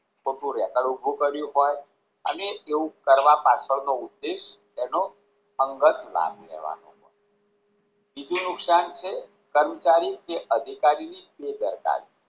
કોઈક નું રેકેદ ઉભું કર્યું હોય અને એવું કરવા પાછળનો ઉદ્દેશ તેનો અંગત લાભ લેવાનો હોય બીજું નુકશાન છે કર્મચારી કે અધિકારીની બેદરકારી